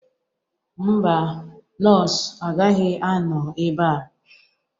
Mba, nọọsụ agaghị anọ ebe a.